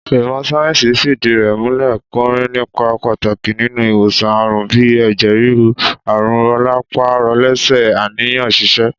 Ìmọ̀ sáyé̩ǹsì fìdí rè̩ múlè̩, porin nípa pàtàkì nínú ìwòsàn àrùn bíi è̩jè̩ ríru, àrùn ro̩lápá-ro̩lé̩sè̩, àníyàn s̩is̩e